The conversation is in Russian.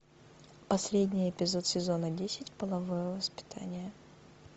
последний эпизод сезона десять половое воспитание